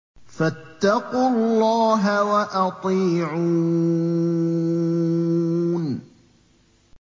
فَاتَّقُوا اللَّهَ وَأَطِيعُونِ